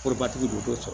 Korobatigi don t'o sɔrɔ